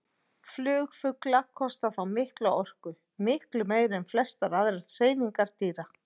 Flug fugla kostar þá mikla orku, miklu meiri en flestar aðrar hreyfingar dýra.